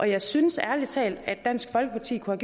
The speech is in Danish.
jeg synes ærlig talt at dansk folkeparti kunne